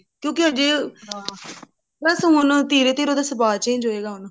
ਕਿਉਂਕਿ ਜੇ ਬਸ ਹੁਣ ਧੀਰੇ ਧੀਰੇ ਸੁਭਾਅ change ਹੋਏਗਾ ਹੁਣ